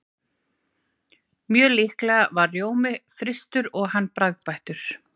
Mjög líklega var rjómi frystur og hann bragðbættur.